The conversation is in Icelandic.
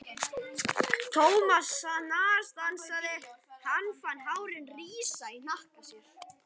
Thomas snarstansaði, hann fann hárin rísa í hnakka sér.